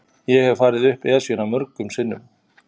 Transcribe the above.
Ég hef farið upp Esjuna mörgum sinnum.